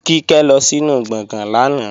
Kíkẹ́ lọ sínu gbọ̀gán lánàá